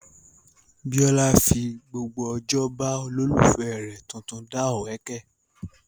Bíólá fi gbogbo ojó ba olólùfẹ́ rẹ̀ tuntun dá òwẹ́kẹ̀